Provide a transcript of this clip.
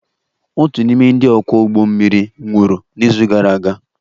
Otu n'ime ndị ọkwọ ụgbọ mmiri nwụrụ n'izu gara aga